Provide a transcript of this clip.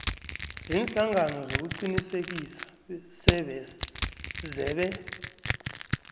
ziinhlangano zokuqinisekisa zebee